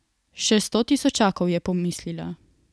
Še sto tisočakov, je pomislila.